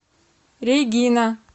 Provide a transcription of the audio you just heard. регина